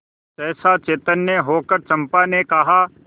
सहसा चैतन्य होकर चंपा ने कहा